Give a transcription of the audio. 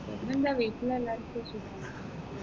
പിന്നെന്താ വീട്ടിൽ എല്ലാവർക്കും സുഖം